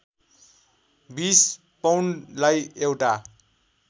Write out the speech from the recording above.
२० पौन्डलाई एउटा